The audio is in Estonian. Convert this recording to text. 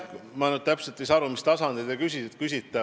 Ma nüüd täpselt ei saa aru, mis tasandi kohta te küsite.